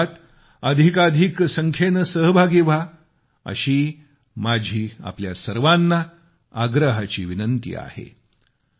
या कार्यक्रमात अधिकाधिक संख्येने सहभागी व्हा अशी माझी आपल्या सर्वांना आग्रहाची विनंती आहे